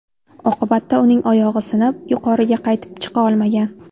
Oqibatda uning oyog‘i sinib, yuqoriga qaytib chiqa olmagan.